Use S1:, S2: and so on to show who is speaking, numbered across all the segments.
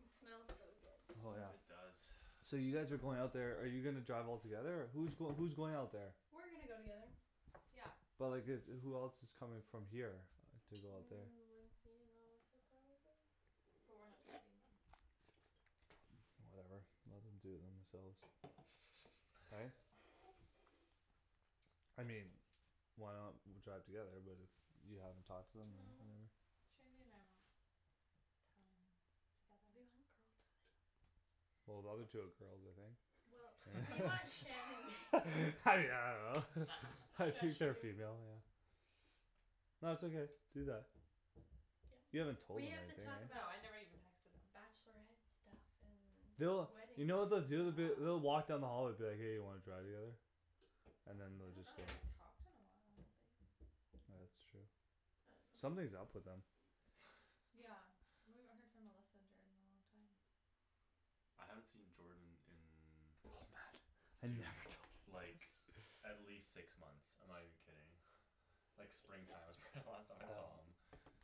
S1: It smells so
S2: Oh yeah
S1: good
S3: It does
S2: So you guys are going out there, are you gonna drive all together or, who's going who's going out there
S1: We're gonna go together
S4: Yeah
S2: But like it's, who else coming from here, to go out there
S1: Mm Lindsay and Melissa, probably?
S4: But we're not driving them
S2: Whatever, let them do it themselves Right? I mean Why not w- drive together, but if you haven't talked to them or
S4: No
S2: whatever
S4: Shandy and I want time together
S1: We want girl time
S2: Well the other two are girls, aren't they
S1: Well,
S2: Eh
S1: we want Shan
S2: yeah
S1: and
S2: I don't know
S1: Shush,
S2: I think
S1: you
S2: they're female, yeah No it's okay, do that You
S1: Yeah,
S2: haven't told
S1: we
S2: them or
S1: have to
S2: anything
S1: talk
S4: No,
S1: about
S4: I never
S2: right
S1: bachelorette
S4: even texted them
S1: stuff and
S2: They'll,
S1: wedding
S2: you know what
S1: stuff
S2: they'll do, they'll be, they'll walk down the
S4: Yeah
S2: hall and be like hey you wanna drive together? And then
S4: I
S2: they'll
S4: don't
S2: just
S4: know,
S2: go
S4: they haven't talked in a while, like
S2: Ah that's true
S1: I dunno
S2: Something's up with them
S4: Yeah, we haven't heard from Melissa and Jordan in a long time
S3: I haven't seen Jordan
S2: Oh man
S3: in
S2: Have you
S3: dude,
S2: ever talked to them like
S3: like at least six months, I'm not even kidding Like spring time was probably the last time I saw him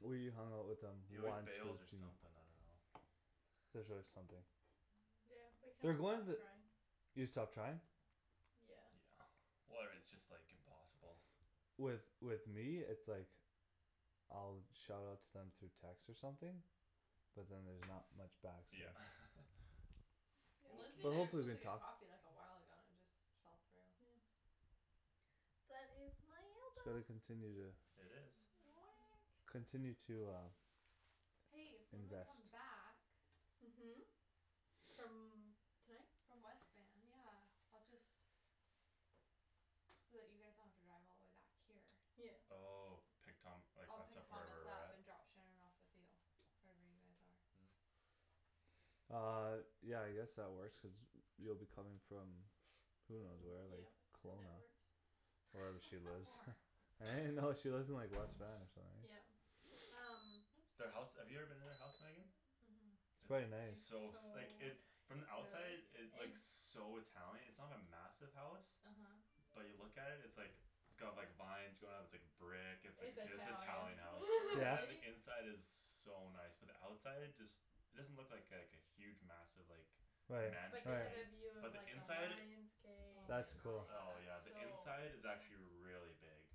S2: We hung out with them
S3: He always
S2: once
S3: bails or something, I dunno
S2: There's always something
S1: Yeah, we kinda
S2: They're going
S1: stopped
S2: the
S1: trying
S2: You stopped trying?
S1: Yeah
S3: Yeah Where it's just like impossible
S2: With with me it's like I'll shout out to them through text or something But then there's not much back so
S3: Yeah
S4: Lindsay
S2: But
S4: and I were
S2: hopefully
S4: supposed
S2: they
S4: to get
S2: talk
S4: coffee like a while ago and it just fell through
S1: Yeah But it's
S2: So they continue to
S3: It is
S1: Weh
S2: Continue to uh
S4: Hey, when we
S2: Invest
S4: come back
S1: Mhm From tonight?
S4: From West Van, yeah, I'll just So that you guys don't have to drive all the way back here
S1: Yeah
S3: Oh, pick Thom- like
S4: I'll
S3: us
S4: pick
S3: up
S4: Thomas
S3: wherever we're
S4: up
S3: at?
S4: and drop Shan off with you Wherever you guys are
S3: Mm
S2: Um, yeah I guess that works cuz you'll be coming from Who knows
S1: From
S2: where, like
S1: yeah, that
S2: Kelowna
S1: works
S2: Wherever she
S4: How
S2: lives
S4: far?
S2: Right no, she lives in like West Van or something right
S1: Yeah, um
S3: Their house,
S4: Oops
S3: have you ever been to their house Megan?
S4: Mhm
S2: It's quite
S1: It's
S3: It's
S2: nice
S1: so
S3: so s- like it, from the
S1: nice
S3: outside
S4: Really?
S3: it looks so Italian, it's not a massive house
S4: Uh huh
S3: But you look at it, it's like It's got like vines going up, it's like brick, it's
S1: It's
S3: like
S1: Italian
S3: Italian house,
S2: Yeah?
S3: and
S4: Really?
S3: the inside is so nice, but the outside just It doesn't look like like a huge massive like
S2: Right
S1: But
S3: mansion,
S1: they have a
S2: right
S3: right
S1: view of
S3: But the
S1: like a
S3: inside?
S1: lion's gate and
S4: Oh
S1: like
S4: my
S2: That's
S1: it's
S2: cool
S3: Oh yeah, the
S1: so
S3: inside
S4: gosh
S3: is actually
S1: big
S3: really big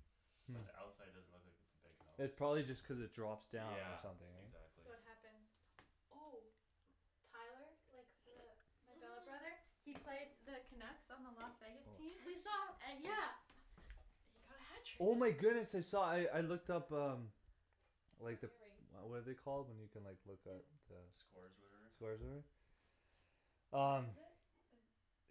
S2: Mm
S3: But the outside doesn't look like it's a big house
S2: It probably just cuz it drops down or
S3: Yeah,
S2: something eh
S3: exactly
S1: So what happens? Oh Tyler, like the my billet brother,
S4: Mhm
S1: he played the Canucks on the Las Vegas team
S4: We saw
S1: An- yeah He got a
S2: Oh my
S1: hat trick
S2: goodness I saw, I I looked up um Like the,
S4: Ring
S2: what are they called when you can like look up
S1: Yep
S2: the
S3: Scores or
S2: Scores
S3: whatever?
S2: or whatever?
S1: What
S2: Um
S1: is it, the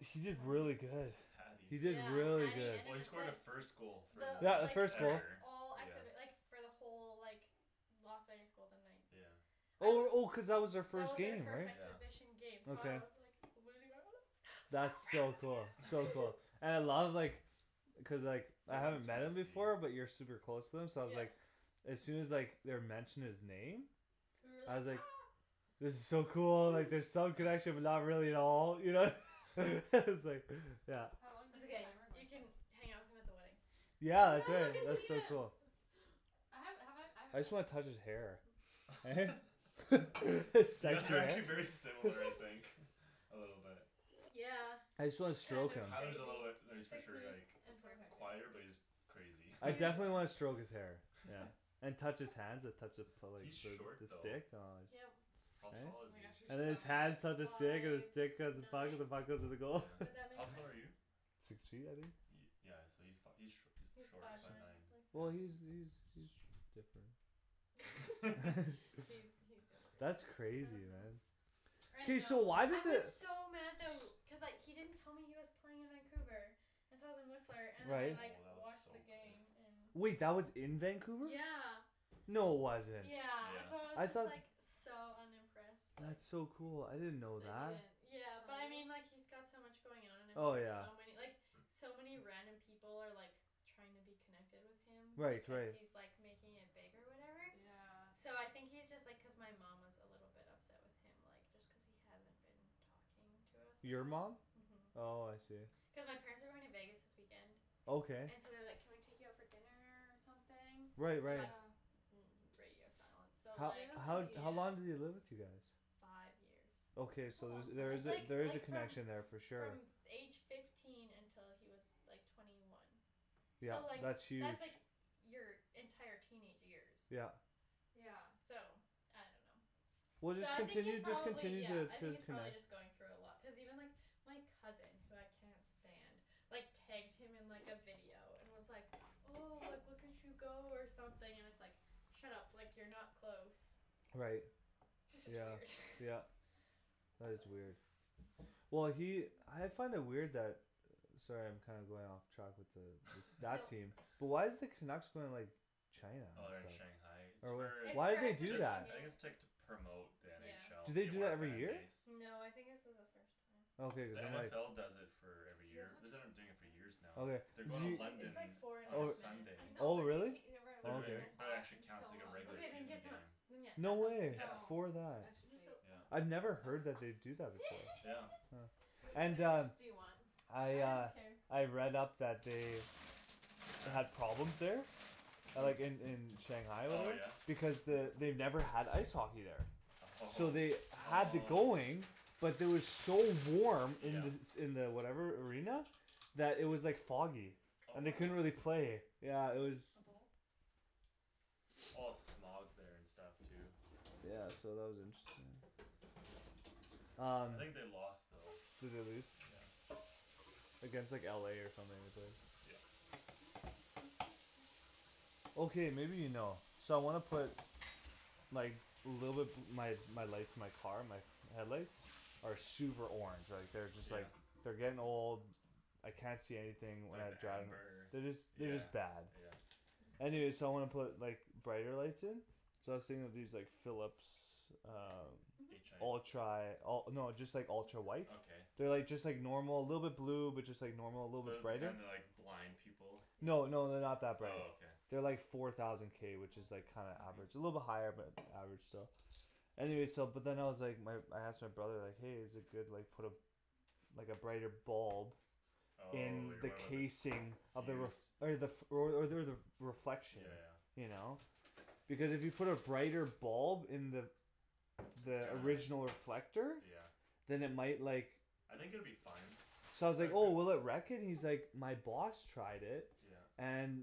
S2: He did really good
S3: Hatty
S2: He did
S1: Yeah,
S2: really
S1: hatty
S2: good
S1: and an
S3: Well he scored the
S1: assist.
S3: first goal for
S2: Yeah,
S1: The
S2: the
S1: like
S3: like,
S2: first
S1: the
S2: goal
S3: ever,
S1: all acts
S3: yeah
S1: of it like for the whole like Las Vegas Golden Knights
S3: Yeah
S1: I
S2: Oh
S1: was
S2: oh cuz that
S1: That
S2: was
S1: was
S2: their
S1: our
S2: first
S1: first
S2: game right?
S3: Yeah
S1: exhibition game, so I
S2: Okay
S1: was like losing my mind, so
S2: That's so cool,
S1: proud
S2: so
S1: of
S2: cool, and I
S1: you
S2: love like Cuz like,
S3: I
S2: I
S3: like how
S2: haven't met him before but you're
S3: the
S2: super close to him so I was like
S1: Yeah
S2: As soon as like they were mentioning his name
S4: You were
S2: I
S4: like
S2: was
S4: ah
S2: like It was so cool, like there's some connection but not really at all, you know S- like, yeah
S4: How long
S1: It's
S4: did the
S1: ok,
S4: timer go
S1: you can
S4: for?
S1: hang out with him at the wedding
S2: Yeah
S4: Yeah,
S2: I
S4: we'll
S2: could,
S4: get to
S2: that's so
S4: meet him
S2: cool
S4: I haven't, have I, I
S2: I
S4: haven't met
S2: just wanna
S4: him
S2: touch his hair Eh? It's,
S3: You guys
S2: that's
S3: are
S2: right
S3: actually very similar, I think A little bit
S1: Yeah,
S2: I just wanna
S1: kind
S2: stroke
S1: of
S2: him
S3: Tyler's a little bit,
S1: crazy
S3: no he's for
S1: Six
S3: sure
S1: minutes
S3: like
S1: and forty five
S3: quieter,
S4: Okay
S3: but
S1: seconds
S3: he's crazy
S2: I definitely wanna stroke
S1: He's
S2: his hair, yeah And touch his hands and touch the the
S3: He's short though
S2: stick, aw it's
S1: Yep
S3: How tall
S2: Eh?
S4: Oh
S3: is
S4: my gosh, you're
S2: And then
S3: he?
S2: his
S4: so
S2: hands touch the
S4: weird
S2: stick and the
S1: Five
S2: stick touch the
S1: nine?
S2: puck and the puck
S1: Would
S2: goes to the
S3: Yeah,
S2: goal
S1: that
S3: how
S1: make
S3: tall are you?
S1: sense?
S2: Six feet I think?
S3: Yeah so he's fi- he's sh- he's
S1: He's
S3: short,
S1: five
S3: five nine, yeah
S2: Well
S1: nine
S2: he's he's he's sh- different
S1: He's he's different, how
S2: That's crazy
S1: does it look?
S2: man
S1: I
S4: I
S2: Hey so
S1: know,
S4: know
S2: why
S1: I
S2: did the
S1: was
S2: s-
S1: so mad tha- w- cuz like he didn't tell me he was playing in Vancouver and so I was in Whistler
S3: Oh
S1: and then I
S2: Right
S1: like
S3: that looks
S1: watched
S3: so
S1: the
S3: good
S1: game in
S2: Wait that was in Vancouver?
S1: Yeah
S2: No wasn't
S1: Yeah, and so I was
S2: I
S3: Yeah
S1: just
S2: thought
S1: like, so unimpressed like
S2: That's so cool, I didn't know
S4: That
S2: that
S4: he didn't
S1: Yeah, but
S4: tell
S1: I mean
S4: you?
S1: like he's got so much going on and then
S2: Oh
S1: there's
S2: yeah
S1: so many, like so many random people are like trying to be connected with him
S2: Right
S1: because
S2: right
S1: he's like making it big or whatever
S4: Yeah
S1: So I think he's just like cuz my mom was a little bit upset with him like just cuz he hasn't been talking to us at
S2: Your
S1: all
S2: mom?
S1: Mhm
S2: Oh I see
S1: Cuz my parents are going to Vegas this weekend
S2: Okay
S1: And so they're like can we take you out for dinner or something?
S2: Right
S1: And like
S2: right
S4: Yeah
S1: mm it's radio silence so
S2: How
S1: like
S2: how how long did he
S4: Really?
S2: live with you guys?
S1: Five years
S2: Okay
S4: That's a
S2: so there's
S4: long
S2: there
S4: time
S1: That's
S2: is a,
S1: like
S2: there is
S1: like
S2: a
S1: from
S2: connection there for sure
S1: from f- age fifteen until he was like twenty one So
S2: Yeah,
S1: like,
S2: that's huge
S1: that's like your entire teenage years
S2: Yeah
S4: Yeah
S1: So I dunno
S2: Well
S1: So
S2: just
S1: I think he's
S2: continue, just
S1: probably
S2: continue
S1: yeah,
S2: t-
S1: I
S2: to
S1: think he's probably
S2: connect
S1: just going through a lot, cuz even like, my cousin, who I cannot stand, like tagged him in like a video and was like oh, like look at you go or something and it's like Shut up, like you're not close
S2: Right
S1: That's just
S2: Yeah
S1: weird
S2: yeah That is weird Well he, I find it weird that Sorry I'm kinda going off track with the, with that team, but why is the Canucks going like China
S3: Oh they're in Shanghai, it's
S2: Or whatever,
S3: for,
S1: It's
S2: why'd
S1: for
S2: they do
S1: exhibition
S3: ju-
S2: that?
S3: I think it's like to
S1: game
S3: promote the
S2: Do
S3: NFL, to
S2: they
S4: Yeah
S3: gain
S2: do
S3: more
S2: that every year?
S3: fanbase
S1: No, I think this is a first time
S2: Okay cuz
S3: The
S2: then like
S3: NFL does it for every
S4: Do you guys
S3: year,
S4: want
S3: they've been like doing it
S4: chips
S3: for
S4: and
S3: years
S4: salsa?
S3: now
S2: Okay,
S3: They're
S2: did
S3: going to
S2: you
S1: Wait, it's
S3: London
S1: like four and a
S3: on
S2: Oh,
S1: half
S3: Sunday
S4: I
S1: minutes
S4: know
S2: oh
S4: but then you
S2: really?
S4: can't eat it right
S3: They're
S4: away cuz
S3: doing
S4: it's
S2: Okay
S4: so
S3: it, but it
S4: hot,
S3: actually
S4: I'm
S3: counts
S4: so
S3: like a regular
S1: Okat, then
S3: season
S4: hungry
S1: get, then
S3: game
S1: yeah,
S2: No
S1: that sounds
S2: way,
S3: Yeah,
S4: No,
S1: great
S2: for
S4: I
S2: that
S1: Just
S4: should
S1: don't
S4: wait
S3: yeah
S2: I'd never heard that they'd do that
S3: Yeah
S2: before
S4: What kind
S2: And
S4: of
S2: uh
S4: chips do you want?
S2: I
S1: I don't
S2: uh,
S1: care
S2: I've read up that they Had problems there A
S3: Who?
S2: like in in Shanghai or
S3: Oh
S2: whatever,
S3: yeah?
S2: because the, they've never had ice hockey there So
S3: Oh,
S2: they had the going,
S3: oh
S2: but it was so warm in
S3: Yeah
S2: the s- in the whatever arena, that it was like foggy,
S3: Oh
S2: and
S1: Whoa,
S2: they
S1: can
S2: couldn't
S1: you
S2: really play,
S1: pass?
S2: yeah it was
S4: Hm?
S1: A bowl?
S3: A lot of smog there and stuff too
S2: Yeah so that was interesting Um
S3: I think they lost though
S2: Did they lose?
S3: Yeah
S2: Like it's like LA or something at least
S3: Yep
S2: Okay maybe you know, so I wanna put Like, little bit, my lights, my car, my headlights? Are super orange, like they're just
S3: Yeah?
S2: like, they're getting old I can't see anything when
S3: Like
S2: I drive,
S3: amber?
S2: they're just they're
S3: Yeah
S2: just bad
S3: yeah
S2: Anyway so I wanna put like brighter lights in So I was thinking of these like Philips um
S3: H i
S1: Mhm
S2: Ultra, oh no just like ultra white
S3: Okay
S2: They're like just like normal, little bit blue, but just like normal, little bit
S3: Those the
S2: brighter
S3: kind that like, blind people
S4: Yeah
S2: No no they're not that bright
S3: Oh okay
S2: They're like four thousand k which is like kinda average, a little bit
S3: Mhm
S2: higher but average still Anyway so but then I was like, my I asked my brother like hey is it good like put a Like a brighter bulb In
S3: On you're
S2: the
S3: worried about the fuse
S2: casing of the r- okay the, f- or o- or the reflection
S3: Yeah yeah
S2: You know? Because if you put a brighter bulb in the
S3: It's
S2: The
S3: gonna
S2: original reflector
S3: Yeah
S2: Then it might like
S3: I think it would be fine
S2: So I was like oh will it wreck it? He's like my boss tried it,
S3: Yeah
S2: and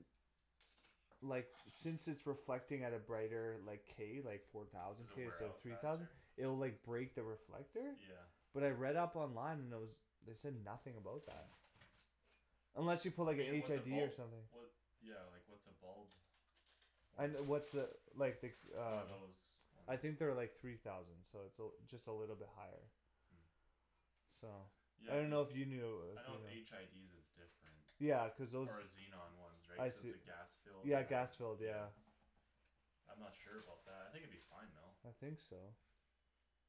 S2: Like since it's reflecting at a brighter like, k, like four thousand
S3: Does it
S2: k
S3: wear
S2: instead of
S3: out
S2: three thousand
S3: faster?
S2: It'll like break the reflector
S3: Yeah
S2: But I read up online and there was, they said nothing about that
S3: Mm
S2: Unless you put
S3: I
S2: like a
S3: mean like
S2: HID
S3: what's a bulb
S2: or something
S3: What, yeah like what's a bulb,
S2: I
S3: worth
S2: n- what's a, like the
S3: One
S2: uh
S3: of those ones
S2: I think they're like three thousand so it's a l- just a little bit higher
S3: Mm
S2: So I
S3: Yeah cuz,
S2: dunno if you knew
S3: I know with HIDs it's different
S2: Yeah, cuz those
S3: Or xenon ones right,
S2: I
S3: cuz
S2: see
S3: the gas filled,
S2: Yeah
S3: and
S2: gas filled, yeah
S3: yeah I'm not sure about that, I think it'd be fine though
S2: I think so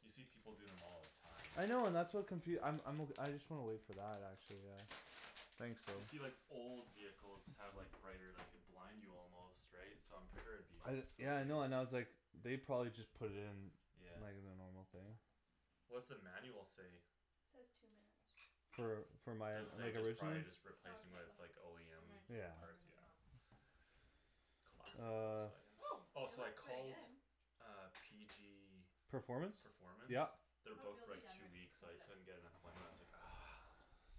S3: You see people doing them all the time
S2: I know and that's what confu- I'm I'm o- I just wanna wait for that, actually yeah Thanks though
S3: You see like old vehicles have like brighter, like could blind you almost, right, so I'm sure it'd be
S2: I d- yeah I know and I was
S3: okay
S2: like They probably just put it in,
S3: Yeah
S2: like the normal thing
S3: What's the manual say?
S1: Says two minutes
S2: For for my a-
S3: Does
S2: s-
S3: say
S2: like
S3: just
S2: original?
S3: probably just replacing it with OEM
S4: It might
S2: Yeah
S4: take longer
S3: parts,
S4: than
S3: yeah
S4: that
S3: Classic
S2: Uh
S3: Volkswagen
S4: Oh
S3: Oh
S1: Oh it
S3: so I
S1: looks pretty
S3: called
S1: good
S3: uh PG
S2: Performance?
S3: Performance?
S2: Yeah
S3: They're booked
S4: Feel
S3: for
S4: the
S3: like two
S4: underneath,
S3: weeks,
S4: cuz
S3: I
S4: it
S3: couldn't get an appointment, I was like ah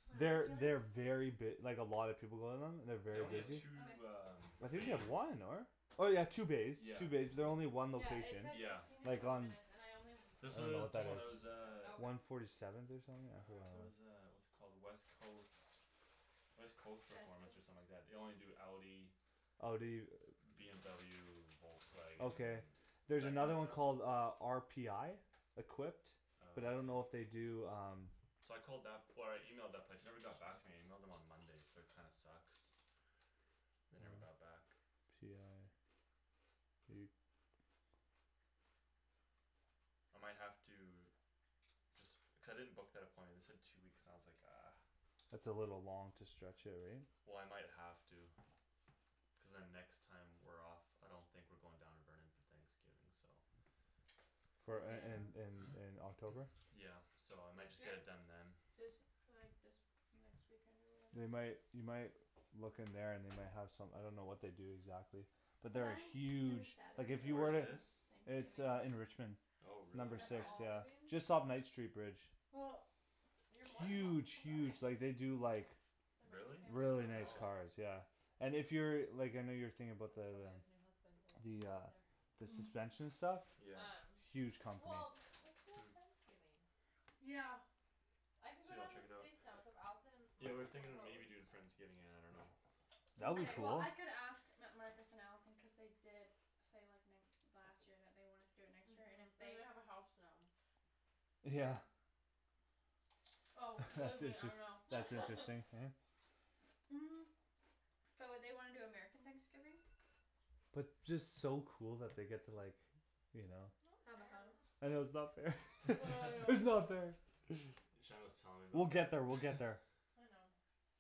S1: What am
S2: They're
S1: I
S2: they very
S1: feeling?
S2: b- like a lot of people go to them, they're
S4: Still
S3: They
S4: kind
S2: very
S4: of
S3: only have
S2: busy
S4: doughy
S3: two um
S2: I
S1: Okay
S2: think they
S3: bays
S2: have one, n- or? Oh yeah two bays,
S3: Yeah
S2: two bays, but they're only
S3: yeah
S2: one
S1: Yeah it
S2: location,
S1: said
S3: Yeah
S1: sixteen to
S2: like
S1: twenty
S2: on
S1: minutes and I only
S2: I
S3: There's
S1: put
S2: don't
S3: so
S2: know
S3: there's
S2: what
S3: the
S2: that
S3: one there
S1: sixteen
S2: is
S3: was
S1: so
S3: uh
S4: Oh okay
S2: One forty seventh or something, yeah
S3: Ah, there's a what's it called, West Coast West Coast Performance or something like that, they only do Audi
S2: Oh do you?
S3: BMW, Volkswagen,
S2: Okay There's
S3: that
S2: another
S3: kinda
S2: one called
S3: stuff?
S2: uh, RPI? Equipped But I don't know if they
S3: Okay
S2: do um
S3: So I called that, or I emailed that place, they never got back to me and I emailed them on Monday so that kinda sucks They never got back I might have to Cuz I didn't book that appointment, they said two weeks and I was like ah
S2: That's a little long to stretch it right?
S3: Well I might have to Cuz then next time we're off I don't think we're going down to Burnaby Thanksgiving, so
S2: For in in in
S1: Yeah
S2: in October?
S3: Yeah so I might
S4: This
S3: just get
S4: year?
S3: it done then
S1: This, like this, next weekend or
S2: They
S1: whatever
S2: might, you might Look in there and they might have some, I don't know what they do exactly But there are huge, like if you
S3: Where
S2: were
S3: is
S2: to
S3: this?
S2: It's uh in Richmond
S1: Thanksgiving
S3: Oh
S4: Have
S3: really?
S2: Number
S4: you got
S2: six,
S4: friends
S2: yeah,
S4: leaving?
S2: just off Knight street bridge
S1: Well
S4: You're more than welcome
S2: Huge
S4: to come to us
S2: huge, like they do like
S4: There might be
S3: Really?
S4: family
S2: Really
S4: drama,
S2: nice
S3: Oh
S4: but
S2: cars, yeah And if you're, like I know you were thinking about
S4: Cuz
S2: the the
S4: Sylvia's new husband will be
S2: The uh
S4: there
S2: The
S1: Mm
S2: suspension stuff?
S3: Yeah
S4: Um,
S2: Huge company
S4: well let's do a
S3: Hm
S4: friendsgiving
S1: Yeah
S4: I can go
S3: Sweet I'll
S4: down to
S3: check it
S4: the
S3: out
S4: States now so if Allison and
S3: Yeah we were
S4: Marcus wanna
S3: thinking of
S4: host
S3: maybe doing friendsgiving, I dunno
S2: That would be
S1: Mkay well
S2: cool
S1: I could ask M- Marcus and Allison cuz they did say like n- last year that they wanted to do it next year and if
S4: Mhm,
S1: they
S4: and they have a house now
S2: Yeah
S1: Yeah Oh believe
S2: That's
S1: me I
S2: interest-
S1: know
S2: that's interesting, yeah
S1: Mm But would they wanna do American Thanksgiving?
S2: But just so cool that they get to like You know
S1: Have a house
S2: I know it's not fair
S1: I
S2: it's
S1: know
S2: not fair
S3: Shandryn was telling me
S2: We'll
S3: about
S2: get
S3: that
S2: there, we'll get there
S4: I know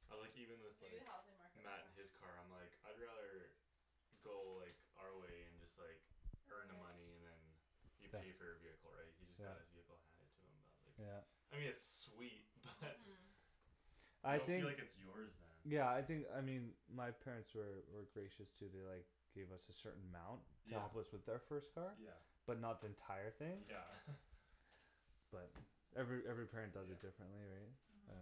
S3: I'm like even with
S4: Maybe the
S3: like
S4: housing market will
S3: Matt in
S4: crash
S3: his car, I'm like I'd rather Go like, our way and just like
S1: Earn
S3: earn the money
S1: it
S3: and then You pay for your vehicle right, he just got his vehicle handed to him, I was like
S2: Yeah
S3: I mean it's sweet, but You
S2: I
S3: don't
S2: think
S3: feel like it's yours then
S2: Yeah I think, I mean my parents were were gracious too, they like Gave us a certain amount to
S3: Yeah
S2: help us with our first car
S3: Yeah
S2: But not the entire thing
S3: Yeah
S2: But every every parent does
S3: Yeah
S2: it differently right
S4: Mhm